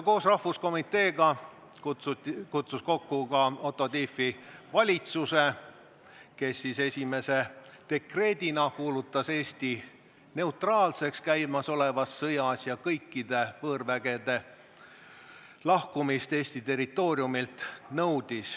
Koos rahvuskomiteega kutsus ta kokku ka Otto Tiefi valitsuse, kes esimese dekreediga kuulutas Eesti käimasolevas sõjas neutraalseks ja nõudis kõikide võõrvägede lahkumist Eesti territooriumilt.